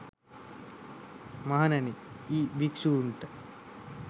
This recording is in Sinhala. මහණෙනි යි භික්ෂූන්ට